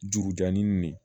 Juru jannin nin